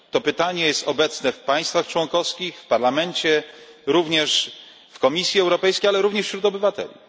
To pytanie jest obecne w państwach członkowskich, w Parlamencie, w Komisji Europejskiej, ale również wśród obywateli.